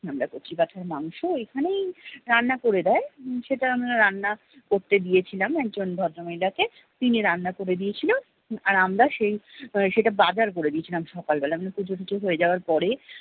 আমরা কচি পাঁঠার মাংস এখানেই রান্না করে দেয়। সেটা আমরা রান্না করতে দিয়েছিলাম একজন ভদ্র মহিলা কে। তিনি রান্না করে দিয়ে ছিল আর আমরা সেই সেটা বাজার করে দিয়েছিলাম সকাল বেলা পুজোটুজো হয়ে যাওয়ার পরে-